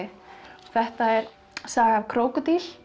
þetta er saga af krókódíl